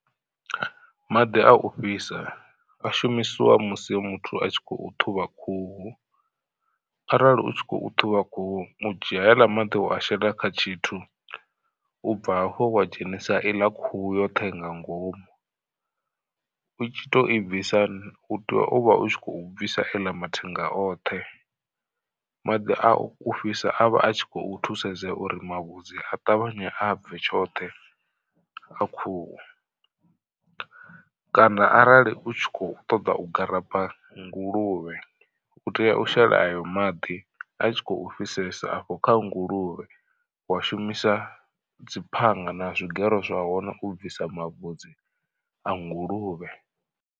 Maḓi a u fhisa a shumisiwa musi muthu a tshi khou ṱhuvha khuhu, arali u tshi khou ṱhuvha khuhu u dzhia heiḽa maḓi wa a shela kha tshithu ubva hafho wa dzhenisa i ḽa khuhu yoṱhe nga ngomu. U tshi to i bvisa u tea uvha u khou bvisa eḽa mathenga oṱhe maḓi a u fhisa a vha a tshi khou thusedza uri mavhudzi a ṱavhanye a bve tshoṱhe a khuhu. Kana arali u tshi kho ṱoḓa u garaba nguluvhe u tea u shela ayo maḓi a tshi khou fhisesa afho kha nguluvhe wa shumisa dzi phanga na zwigero zwahone u bvisa mavhudzi a nguluvhe.